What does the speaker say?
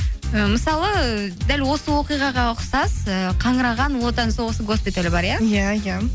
ы мысалы дәл осы оқиғаға ұқсас ыыы қаңыраған ұлы отан соғысы госпиталі бар иә иә иә